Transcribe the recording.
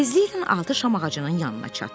Tezliklə altı şam ağacının yanına çatdılar.